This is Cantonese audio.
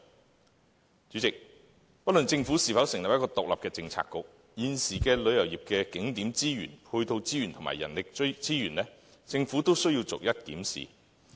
代理主席，不論政府會否就此成立一個獨立的政策局，對於現時旅遊業的景點資源、配套資源和人力資源，政府都需要逐一檢視。